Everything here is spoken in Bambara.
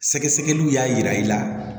Sɛgɛsɛgɛliw y'a yira i la